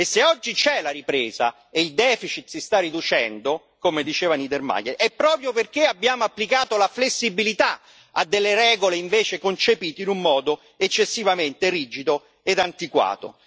E se oggi c'è la ripresa e il deficit si sta riducendo, come diceva Niedermayer, è proprio perché abbiamo applicato la flessibilità a delle regole, invece, concepite in un modo eccessivamente rigido e antiquato.